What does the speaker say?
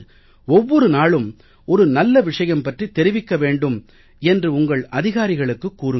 ஒவ்வொரு நாளும் ஒரு நல்ல விஷயம் பற்றித் தெரிவிக்க வேண்டும் என்று உங்கள் அதிகாரிகளுக்குக் கூறுங்கள்